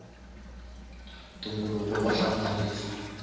ntumbuluko wa hamarisa